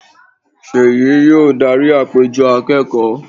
seyí yóò darí àpéjọpọ̀ akẹ́kọ̀ọ́.